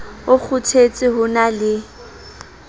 o kgothetse ho na le